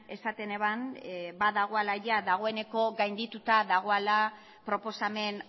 esaten eban badagoala dagoeneko gaindituta dagoala proposamen